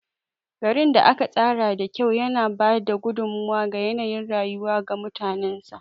Garin da aka tsara da kyau yana ba da gudummawa ga yanayin rayuwa ga mutanensa.